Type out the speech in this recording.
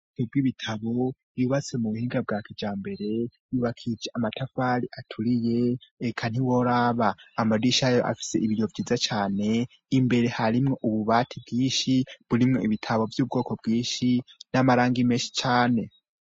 Ububiko bw'ibitabo yubatse mu buhinga bwakija mbere yubakice amatafari aturiye eka ntiworaba amadisha ayo afise ibiriyo byiza cyane imbere harimwe ububati bwishi burimwe ibitabo by'ubwoko bwishi n'amaranga imenshi cane.